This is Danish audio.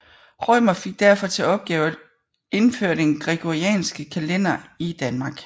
Rømer fik derfor til opgave at indføre den gregorianske kalender i Danmark